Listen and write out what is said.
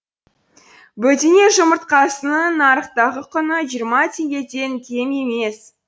бөдене жұмыртқасының нарықтағы құны жиырма теңгеден кем емес